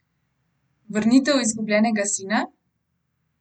Vrnitev izgubljenega sina?